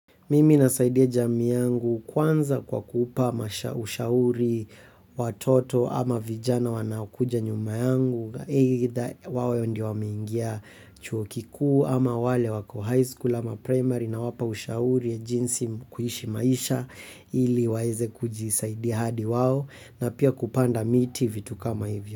Mimi nasaidia jamii yangu kwanza kwa kupa masha ushauri watoto ama vijana wanaokuja nyuma yangu. Either wawe ndo wameingia chuo kikuu ama wale wako high school ama primary nawapa ushauri ya jinsi kuishi maisha ili waeze kujisaidia hadi wao na pia kupanda miti vitu kama hivyo.